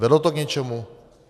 Vedlo to k něčemu?